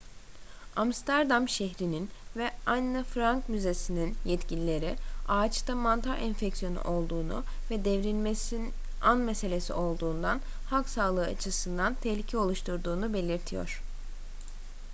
amsterdam şehrinin ve anne frank müzesi'nin yetkilileri ağaçta mantar enfeksiyonu olduğunu ve devrilmesi an meselesi olduğundan halk sağlığı açısından tehlike oluşturduğunu belirtiyor